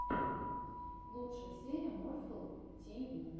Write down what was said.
лучшая серия морфл ти ви